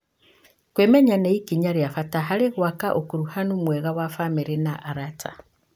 Kwĩmenya nĩ ikinya rĩa bata harĩ gwaka ũkuruhanu mwega na bamĩrĩ na arata.